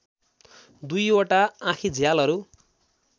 दुईवटा आँखीझ्यालहरू